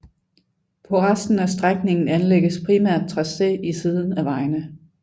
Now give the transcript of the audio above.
På resten af strækningen anlægges primært tracé i siden af vejene